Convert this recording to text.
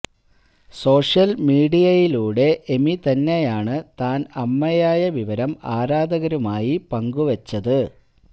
social മീഡിയയിലൂടെ Amy തന്നെയാണ് താന് അമ്മയായ വിവരം ആരാധകരുമായി പങ്കുവച്ചത്